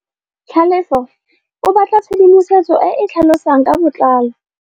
Tlhalefô o batla tshedimosetsô e e tlhalosang ka botlalô.